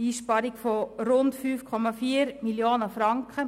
«Einsparung von rund 5,4 Mio. Franken».